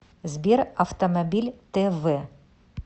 сбер автомобиль тэ вэ